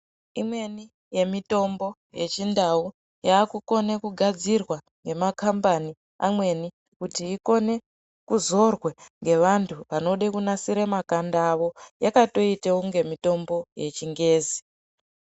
Imweni yemitombo yechindau yakukone kugadzirwa nemakambani amweni kuti ikone kuzorwe ngevantu vanode kunasire makanda avo yakatoite kunge mitombo yechingezi.